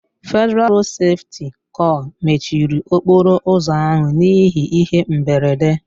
Federalụ Rodu Sefuti kor mechiri okporo ụzọ ahụ n'ihi ihe mberede